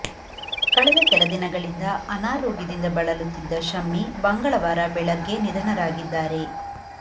ಕಳೆದ ಕೆಲ ದಿನಗಳಿಂದ ಅನಾರೋಗ್ಯದಿಂದ ಬಳಲುತ್ತಿದ್ದ ಶಮ್ಮಿ ಮಂಗಳವಾರ ಬೆಳಗ್ಗೆ ನಿಧನರಾಗಿದ್ದಾರೆ